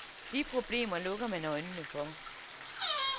De problemer lukker man øjnene for.